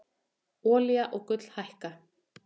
Olía og gull hækka